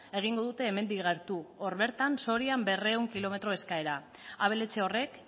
egingo dute hemendik gertu hor bertan sorian berrehun kilometro eskasera abeletxe horrek